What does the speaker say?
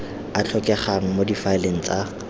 a tlhokegang mo difaeleng tsa